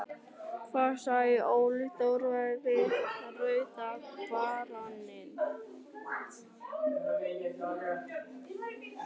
Hvað sagði Óli Þórðar við Rauða baróninn?